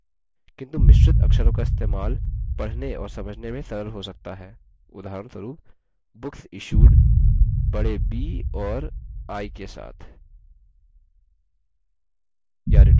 किन्तु मिश्रित अक्षरों का इस्तेमाल पढ़ने और समझने में सरल हो सकता है उदाहरणस्वरुप: booksissued बड़े b और i के साथ